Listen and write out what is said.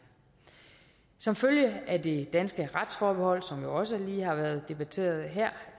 som følge af det danske retsforbehold som jo også lige har været debatteret her